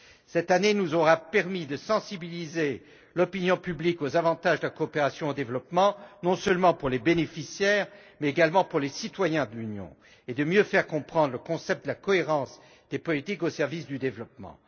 Cette année nous aura permis de sensibiliser l'opinion publique aux avantages de la coopération au développement, non seulement pour les bénéficiaires, mais également pour les citoyens de l'Union, et de mieux faire comprendre le concept de la cohérence des politiques au service du développement.